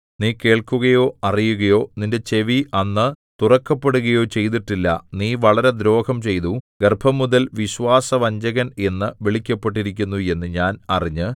നീ കേൾക്കുകയോ അറിയുകയോ നിന്റെ ചെവി അന്ന് തുറക്കപ്പെടുകയോ ചെയ്തിട്ടില്ല നീ വളരെ ദ്രോഹം ചെയ്തു ഗർഭംമുതൽ വിശ്വാസവഞ്ചകൻ എന്നു വിളിക്കപ്പെട്ടിരിക്കുന്നു എന്നു ഞാൻ അറിഞ്ഞ്